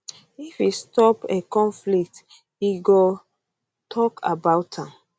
if e stop a conflict e go e go tok about am